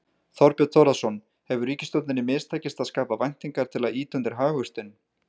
Þorbjörn Þórðarson: Hefur ríkisstjórninni mistekist að skapa væntingar til að ýta undir hagvöxtinn?